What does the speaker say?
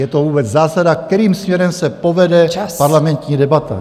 Je to vůbec zásada, kterým směrem se povede parlamentní debata.